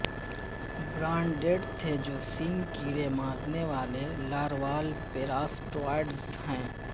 براونڈڈ تھے جو سینگ کیڑے مارنے والے لاروال پیراسٹوائڈز ہیں